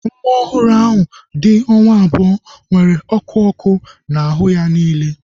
Nwa ọhụrụ ahu dị onwa abụọ nwere ọkụ ọkụ na ahụ ya niile